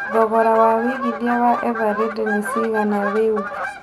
thogora wa wĩigĩthĩa wa Eveready nĩ cigana rĩu